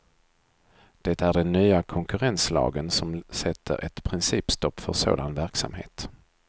Det är den nya konkurrenslagen som sätter ett principstopp för sådan verksamhet.